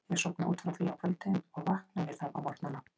Ég sofna út frá því á kvöldin og vakna við það á morgnana.